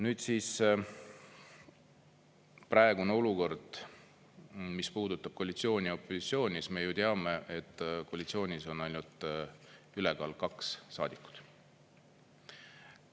Nüüd siis praegune olukord, mis puudutab koalitsiooni-opositsiooni, siis me ju teame, et koalitsioonis on ainult ülekaal kaks saadikut.